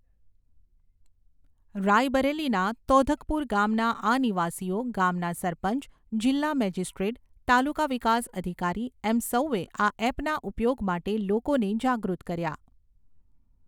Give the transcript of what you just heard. રાયબરેલીના તૌધકપુર ગામના આ નિવાસીઓ ગામના સરપંચ, જીલ્લા મેજીસ્ટ્રેટ, તાલુકા વિકાસ અધિકારી એમ સૌએ આ એપના ઉપયોગ માટે લોકોને જાગૃત કર્યા.